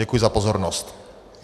Děkuji za pozornost.